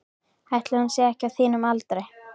Ætli hún sé ekki á þínum aldri.